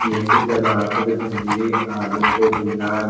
में से टमाटर भिंडी आलू पोदिना --